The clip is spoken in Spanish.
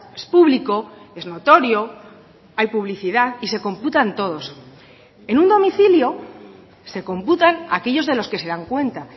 es público es notorio hay publicidad y se computan todos en un domicilio se computan aquellos de los que se dan cuenta